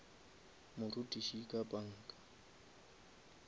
morutiši ka panga